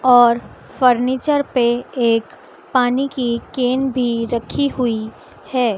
और फर्नीचर पे एक पानी की केन भी रखी हुई है।